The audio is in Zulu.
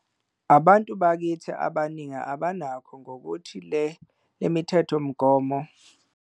.abantu bakithi abaningi abanako ngokuthi le mithethonqubo.